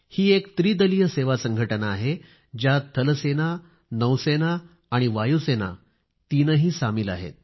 हि एक त्रिदलीय सेवा संघटना आहे ज्यात सेना नौ सेना आणि वायुसेना तीनही सामील आहेत